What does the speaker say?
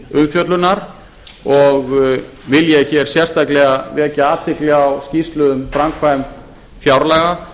umfjöllunar og vil ég hér sérstaklega vekja athygli á skýrslu um framkvæmd fjárlaga